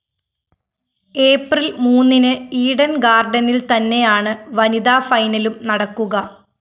April‍ മൂന്നിന് Eden‍ ഗാര്‍ഡനില്‍ തന്നെയാണ് വനിതാ ഫൈനലും നടക്കുക